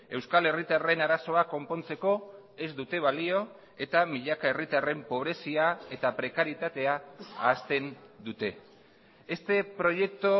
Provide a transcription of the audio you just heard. euskal herritarren arazoa konpontzeko ez dute balio eta milaka herritarren pobrezia eta prekarietatea ahazten dute este proyecto